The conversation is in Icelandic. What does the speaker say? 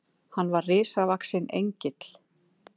Hann var risavaxinn Engill.